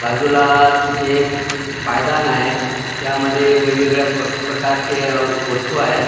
बाजूलाच एक पायदान आहे त्यामध्ये वेगवेगळ्या प्रकारचे वस्तू आहेत.